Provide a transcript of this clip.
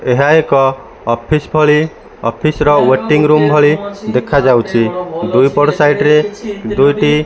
ଏହା ଏକ ଅଫିସ ପରି ଅଫିସ ୱେଟିଂ ରୁମ୍ ଭଳି ଦେଖାଯାଉଛି ଦୁଇପଟ ସାଇଡ ରେ ଦୁଇଟି --